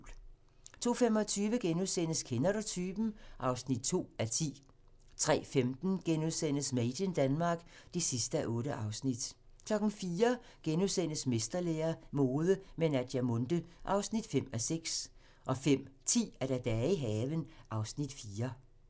02:25: Kender du typen? (2:10)* 03:15: Made in Denmark (8:8)* 04:00: Mesterlære - mode med Naja Munthe (5:6)* 05:10: Dage i haven (Afs. 4)